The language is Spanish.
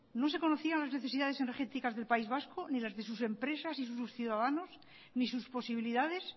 no se conocían las necesidades energéticas del país vasco ni las de sus empresas y sus ciudadanos ni sus posibilidades